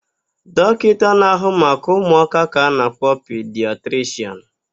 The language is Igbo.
Dọkịta na-ahụ maka ụmụaka ka a na-akpọ pidiatrishịan.